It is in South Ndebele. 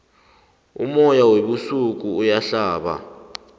umoya webusika uyahlaba